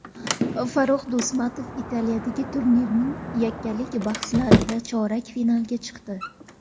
Farrux Do‘stov Italiyadagi turnirning yakkalik bahslarida chorak finalga chiqdi.